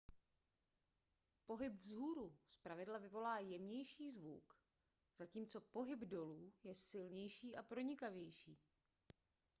pohyb vzhůru zpravidla vyvolá jemnější zvuk zatímco pohyb dolů je silnější a pronikavější